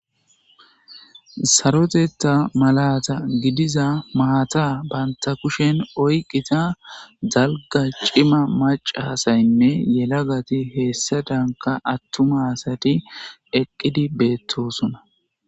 Sarotetta malata giddiza maata banta kushen oyqqida dalga cima macaasayinne yelagati heggadanka attuma asati eqqidi beettosona.